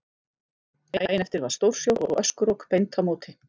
Daginn eftir var stórsjór og öskurok beint á móti.